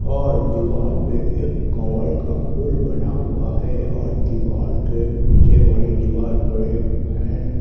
और दीवाल पे एक कमल का फूल बना हुआ है और दीवाल के पीछे वाले दीवाल पर एक फैन --